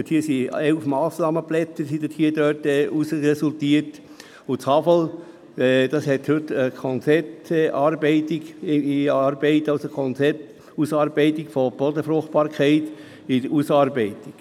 Daraus resultierten 11 Massnahmenblätter, und die Hochschule für Agrar-, Forst- und Lebensmittelwissenschaften (HAFL) hat heute ein Konzept über die Bodenfruchtbarkeit in Arbeit.